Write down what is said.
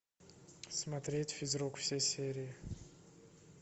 смотреть физрук все серии